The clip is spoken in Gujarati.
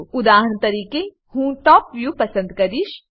ઉદાહરણ તરીકે હું ટોપ વ્યુ પસંદ કરીશ